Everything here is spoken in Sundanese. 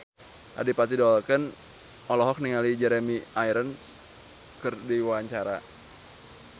Adipati Dolken olohok ningali Jeremy Irons keur diwawancara